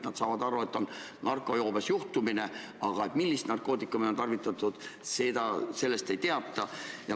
Nad saavad aru, et on narkojoobes inimene, aga millist narkootikumi on tarvitatud, seda nad ei tea.